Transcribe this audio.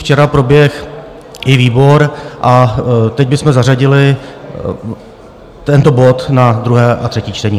Včera proběhl i výbor a teď bychom zařadili tento bod na druhé a třetí čtení.